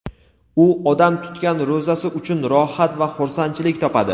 u odam tutgan ro‘zasi uchun rohat va xursandchilik topadi.